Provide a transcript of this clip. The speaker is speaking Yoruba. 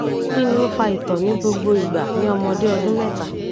kini o fa ito ni gbogbo igba ni omode odun meta